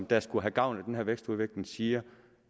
der skulle have gavn af den her vækst og udvikling siger